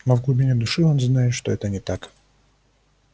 но в глубине души он знает что это не так